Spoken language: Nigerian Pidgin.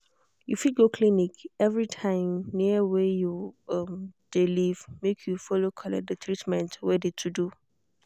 you fit go clinic every time near wey you um de live make you follow collect de treatment wey de to do.